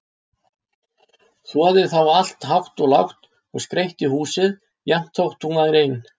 Þvoði þá allt hátt og lágt og skreytti húsið, jafnt þótt hún væri ein.